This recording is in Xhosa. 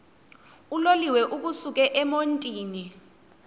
uloliwe ukusuk emontini